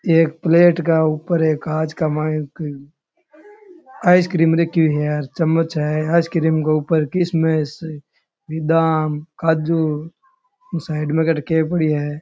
एक प्लेट गै ऊपर एक कांच के माये एक आइसक्रीम रखी हुई है और चम्मच है आइसक्रीम गै ऊपर किशमिश बिदाम काजू साईड में के ठा के पड़यो है।